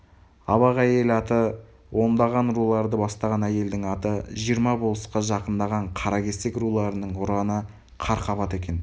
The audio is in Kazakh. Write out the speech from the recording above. абақәйел аты ондаған руларды бастаған әйелдің аты жиырма болысқа жақындаған қаракесек руларының ұраны қарқабат екен